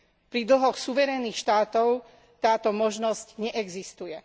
Pri dlhoch suverénnych štátov táto možnosť neexistuje.